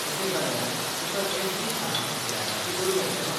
तशें जाल्यार, तुका एफडी खाला व्याजाचे दर मेळचे नात.